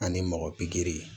Ani mɔgɔ pikiri